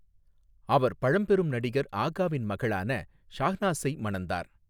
அவர் பழம்பெரும் நடிகர் ஆகாவின் மகளான ஷாஹ்னாஸை மணந்தார்.